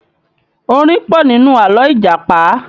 Orin pọ̀ nínú àlọ́ Ìjàpá